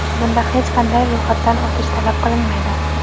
Bunda hech qanday ro‘yxatdan o‘tish talab qilinmaydi.